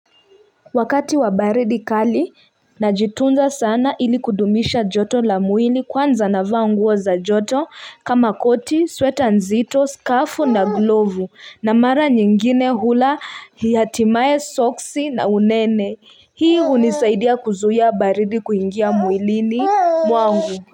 Wakati wa baridi kali najitunza sana ili kudumisha joto la mwili. Kwanza navaa nguo za joto kama koti, sweta nzito, scarf na glovu na mara nyingine hula, hatimaye soksi na unene. Hii hunisaidia kuzuia baridi kuingia mwilini mwangu.